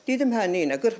Dedim hə nəylə?